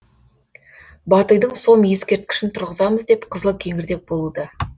батыйдың сом ескерткішін тұрғызамыз деп қызыл кеңірдек болуда